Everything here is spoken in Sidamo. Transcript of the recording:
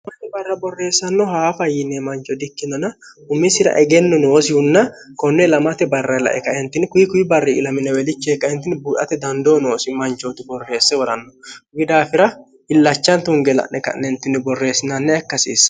han barra borreessanno haafa yiinee mancho di ikkinona humisira egenno noosihunna konne lamate barra lae kaentini kuyi kuyi barri ilamineweelichee kaentinni buuate dandoo noosi manchootu borreesse woranno kbidaafira illachaan tunge la'ne ka'nentinni borreessinanni akkasiissa